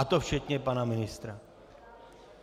A to včetně pana ministra.